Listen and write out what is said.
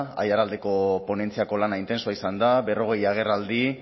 aiaraldeko ponentziako lana intensoa izan da berrogei agerraldi